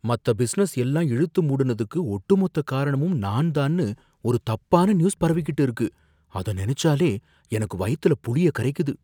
மத்த பிசினஸ் எல்லாம் இழுத்து மூடுனதுக்கு ஒட்டுமொத்த காரணமும் நான்தான்னு ஒரு தப்பான நியூஸ் பரவிக்கிட்டு இருக்கு, அத நினைச்சாலே எனக்கு வயித்துல புளிய கரைக்குது.